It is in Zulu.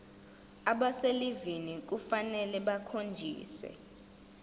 abaselivini kufanele bakhonjiswe